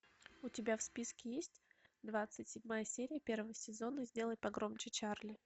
у тебя в списке есть двадцать седьмая серия первого сезона сделай погромче чарли